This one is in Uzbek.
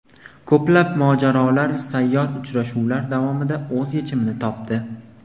Ko‘plab murojaatlar sayyor uchrashuvlar davomida o‘z yechimini topdi.